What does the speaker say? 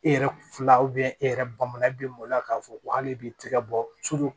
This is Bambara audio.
E yɛrɛ fila e yɛrɛ bakun na e bɛ maloya k'a fɔ ko hali i b'i tɛgɛ bɔ